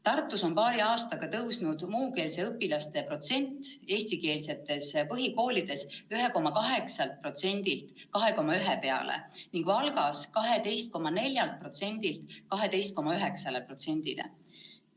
Tartus on paari aastaga kasvanud muukeelsete õpilaste osatähtsus eestikeelsetes põhikoolides 1,8%-lt 2,1%-le ning Valgas 12,4%-lt 12,9%-le.